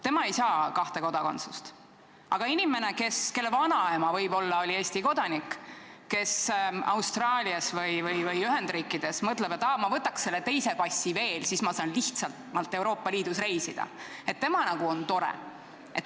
Tema ei saa kahte kodakondsust, aga inimene, kelle vanaema võib-olla oli Eesti kodanik, kes Austraalias või Ühendriikides mõtleb, et aa, ma võtaks selle teise passi veel, siis ma saan lihtsamalt Euroopa Liidus reisida, tema nagu on tore.